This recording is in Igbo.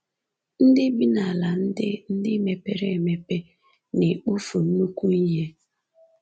Ndị bi n’ala ndị ndị mepere emepe na-ekpofu nnukwu ihe.